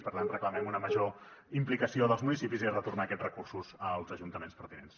per tant reclamem una major implicació dels municipis i retornar aquests recursos als ajuntaments pertinents